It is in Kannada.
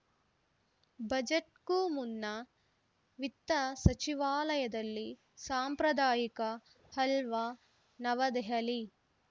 ಬಜೆಟ್‌ಗೂ ಮುನ್ನ ವಿತ್ತ ಸಚಿವಾಲಯದಲ್ಲಿ ಸಾಂಪ್ರದಾಯಿಕ ಹಲ್ವಾ ನವದೆಹಲಿ